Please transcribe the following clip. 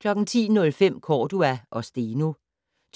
10:05: Cordua og Steno